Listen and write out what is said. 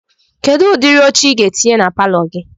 Kedu ụdịrị oche Ị ga-etinye na palọ gị?